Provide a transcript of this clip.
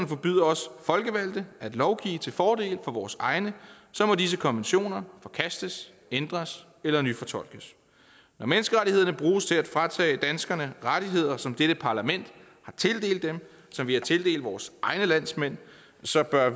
forbyder os folkevalgte at lovgive til fordel for vores egne så må disse konventioner forkastes ændres eller nyfortolkes når menneskerettighederne bruges til at fratage danskerne rettigheder som dette parlament har tildelt dem som vi har tildelt vores egne landsmænd så bør